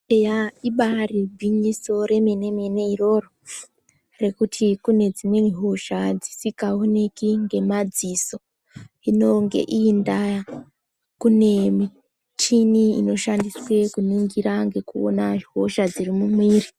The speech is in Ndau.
Eya ibaari gwinyiso remene-mene iroro, rekuti dzimweni hosha dzisingaonekwi ngemadziso, hino ngeiyi ndaa kune michini inoshandiswe kuningira ngekuona hosha dziri mumwiiri.